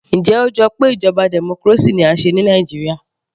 Njẹ́ ó jọ pé ìjọba democracy ni à ń ṣe ní Nàìjíríà